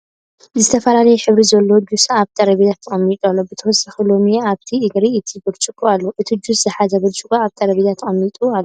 ዝተፈላለየ ሕብሪ ዘሎዎ ጁስ ኣብ ጠረፔዛ ተቀሚጡ ኣሎ ብተወሳኪ ሎሚን ኣብቲ እግሪ እቲ ብጭርቆ ኣሎ ። እቲ ጁስ ዝሓዘ ብጭርቆ ኣብ ጠረጴዛ ተቀሚጡ ኣሎ ።